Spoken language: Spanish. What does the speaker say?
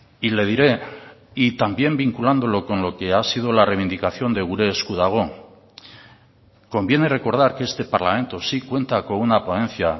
y le diré y también vinculándolo con lo que ha sido la reivindicación de gure esku dago conviene recordar que este parlamento sí cuenta con una ponencia